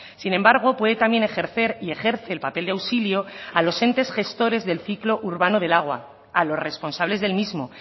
sin embargo puede también ejercer y ejerce el papel de auxilio a los entes gestores del ciclo urbano del agua a los responsables del mismo